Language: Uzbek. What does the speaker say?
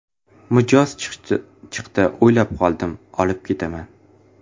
Mijoz chiqdi, o‘ylab qoldim: ‘Olib ketaman.